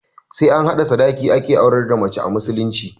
Sai an bada sadaki ake aurar da mace a musulunci